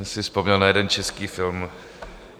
Jsem si vzpomněl na jeden český film...